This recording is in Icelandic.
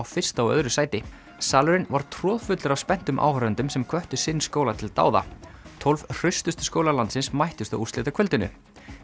fyrsta og öðru sæti salurinn var troðfullur af spenntum áhorfendum sem hvöttu sinn skóla til dáða tólf hraustustu skólar landsins mættust á úrslitakvöldinu